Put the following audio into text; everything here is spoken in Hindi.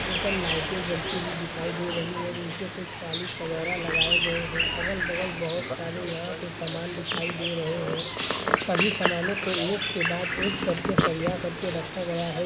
ऊपर लाइटे जलती दिखाई दे रही है नीचे कुछ टाइल्स वैगरह लगाई गई है अगल-बगल बहुत सारे यहाँ पे समान दिखाई दे रहे हैं सभी समानो को एक के बाद एक कर के सरिया कर के रखा गया है।